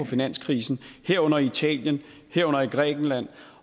finanskrisen herunder i italien herunder i grækenland